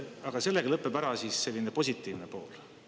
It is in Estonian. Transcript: Aga sellega lõpeb ära see positiivne pool.